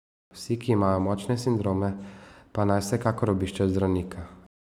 Vsi, ki imajo močnejše sindrome pa naj vsekakor obiščejo zdravnika.